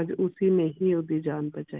ਅੱਜ ਉਸੇ ਨੇ ਹੀ ਓਦੀ ਜਾਨ ਬਚਾਈ।